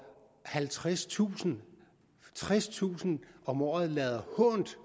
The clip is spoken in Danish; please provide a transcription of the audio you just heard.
tredstusind tredstusind om året lader hånt